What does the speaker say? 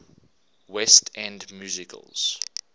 west end musicals